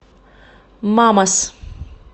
мамас